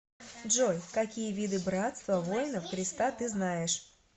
джой какие виды братство воинов христа ты знаешь